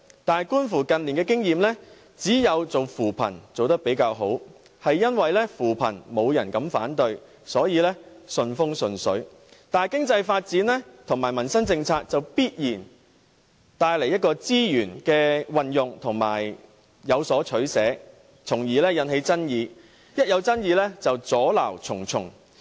但是，觀乎近來的經驗，只有扶貧工作做得比較好，正因扶貧工作沒有人敢反對，所以順風順水，但經濟發展和民生政策就必然帶來資源運用問題，當中有所取捨，因而有所爭議，只要出現爭議便會阻撓重重。